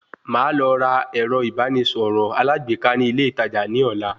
Màá lọ ra ẹ̀rọ ìbánisọ̀rọ̀ alágbèéká ní ilé ìtajà ní ọ̀la